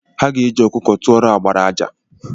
Ha ga-eji ọkụkọ tụọrọ agbara àjà.